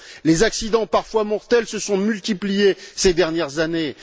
Les accidents parfois mortels se sont multipliés ces dernières années.